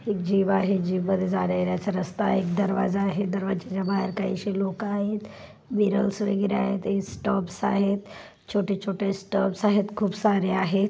जाण्या येण्याचा रास्ता आहे.एक दरवाजा आहे. दरवाज्याच्या बाहेर काही लोक आहेत. विरलस वगैरे आहेत. स्टफस छोटे छोटे स्टफस आहे खुपसारे आहेत.